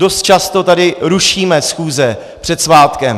Dost často tady rušíme schůze před svátkem.